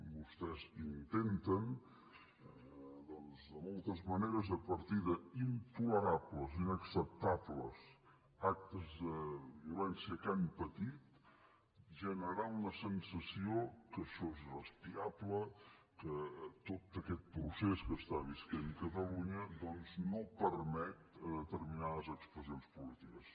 vostès inten ten de moltes maneres a partir d’intolerables inacceptables actes de violència que han patit generar una sensació que això és irrespirable que tot aquest procés que viu catalunya doncs no permet determinades expressions polítiques